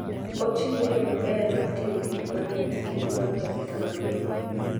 Ochiwo yo maber mar ting'o gik mang'eny kendo ma onge pesa mang'eny.